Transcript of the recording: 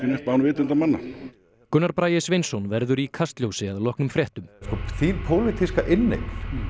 upp án vitundar manna Gunnar Bragi Sveinsson verður í Kastljósi að loknum fréttum þín pólitíska inneign